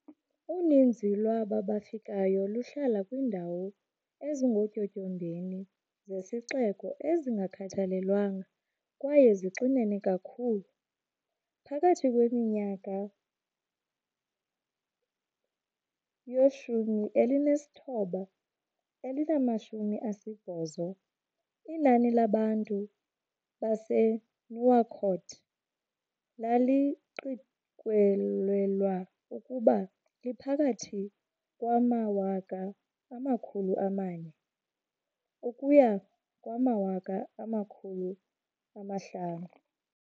Uninzi lwaba bafikayo luhlala kwiindawo ezingootyotyombeni zesixeko ezazingakhathalelwanga kwaye zixinene kakhulu. Phakathi kwiminyaka yoo-1980, inani labantu baseNouakchott laliqikelelwa ukuba liphakathi kwama-400,000 ukuya kuma-500,000.